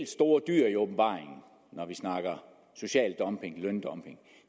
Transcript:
store dyr i åbenbaringen når vi snakker social dumping løndumping